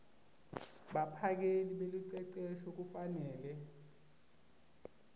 baphakeli belucecesho kufanele